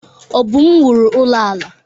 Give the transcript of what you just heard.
Obum wuru ụlọ ala.